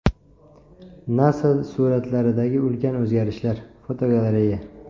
NASA suratlaridagi ulkan o‘zgarishlar (fotogalereya).